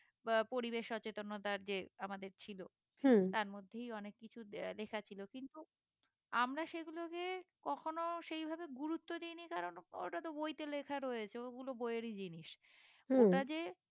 বা পরিবেশ সচতেন্নতার যে আমাদের ছিল তার মধ্যেই অনেক কিছু লেখা ছিল কিন্তু আমরা সেগুলোকে কখনো সেই ভাবে গুরুত্ব দিইনি কারণ ওইটা তো বই তে লেখা রয়েছে ওগুলো বই এর ই জিনিস ওটা যে